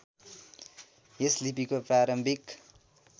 यस लिपिको प्रारम्भिक